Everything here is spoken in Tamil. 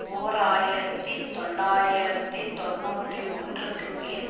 ஓர் ஆயிரத்தி தொள்ளாயிரத்தி தொன்னூற்றி ஒன்றுக்கு பின்